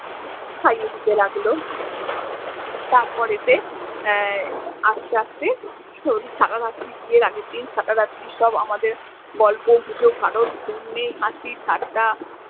খাইয়ে দিতে লাগলো তারপরেতে আস্তে আস্তে সাড়ারাত্রি বিয়ের আগের দিন সাড়া রাত্রি সব আমাদের গল্প গুজব কারোর ঘুম নেই হাসি ঠাট্টা।